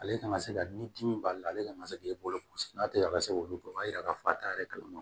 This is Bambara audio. Ale kan ka se ka ni dimi b'ale la ale kana se k'e bolo n'a tɛ ka se k'olu bɔ o b'a yira k'a fɔ a t'a yɛrɛ kalama